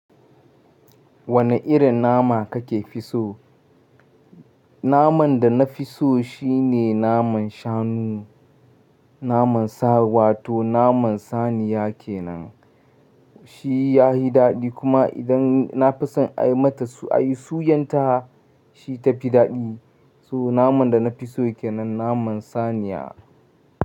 Wane irin nama kake fi so? Naman da na fi so shine naman shanu, naman sa wato naman saniya ke nan. Shi ya hi daɗi kuma idan na fi son a yi mata, a yi suyan ta shi ta fi daɗi. So naman da na fi so yake nan naman saniya.